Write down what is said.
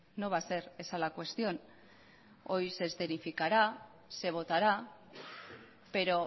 no va a ser esa la cuestión hoy se escenificará se votará pero